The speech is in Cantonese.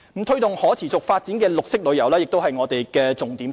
推動可持續發展的綠色旅遊亦是我們的重點之一。